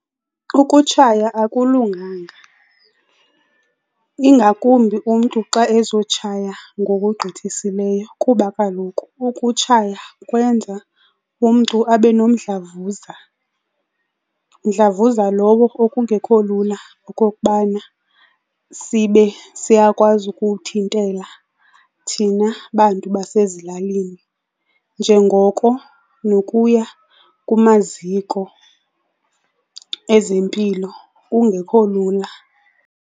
Ukutshaya akulunganga ingakumbi umntu xa ezotshaya ngokugqithisileyo kuba kaloku ukutshaya kwenza umntu abe nomdlavuza, mdlavuza lowo okungekho lula okokubana sibe siyakwazi ukuwuthintela thina bantu basezilalini njengoko nokuya kumaziko ezempilo kungekho lula.